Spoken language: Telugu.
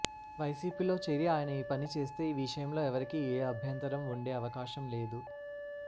వైసీపీ లో చేరి ఆయన ఈ పని చేస్తే ఈ విషయంలో ఎవరికీ ఏ అభ్యంతరం వుండే అవకాశం లేదు